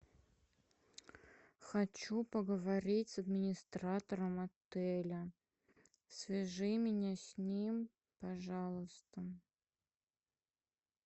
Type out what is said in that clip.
хочу поговорить с администратором отеля свяжи меня с ним пожалуйста